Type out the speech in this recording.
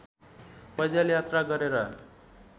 पैदल यात्रा गरेर